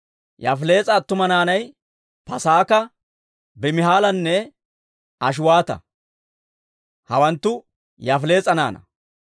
Yaafilees'a attuma naanay Paasaaka, Bimihaalanne Ashiwaata; hawanttu Yaafilees'a naanaa.